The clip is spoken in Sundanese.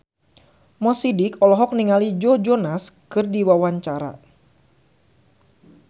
Mo Sidik olohok ningali Joe Jonas keur diwawancara